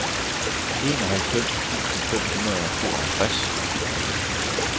enoghalvfems tusind fem hundrede og tooghalvtreds